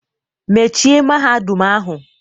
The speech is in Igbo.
Mechie Mahadum ahụ!